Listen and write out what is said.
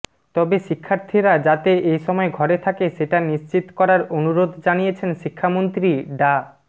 তবে শিক্ষার্থীরা যাতে এসময় ঘরে থাকে সেটা নিশ্চিত করার আনুরোধ জানিয়েছেন শিক্ষামন্ত্রী ডা